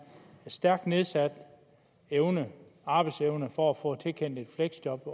stærkt nedsat arbejdsevne for at få tilkendt et fleksjob